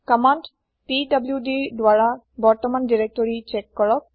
command pwdৰ দ্বাৰা বৰ্তমান দিৰেক্তৰি চ্যেক কৰক